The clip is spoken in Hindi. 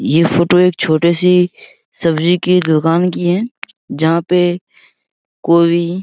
ये फोटो एक छोटे सी सब्जी की दुकान की है जहाँ पे कोई --